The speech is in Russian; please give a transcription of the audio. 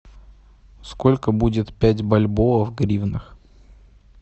сколько будет пять бальбоа в гривнах